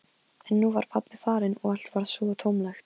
En nú var pabbi farinn og allt varð svo tómlegt.